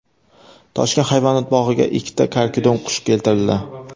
Toshkent hayvonot bog‘iga ikkita karkidon-qush keltirildi.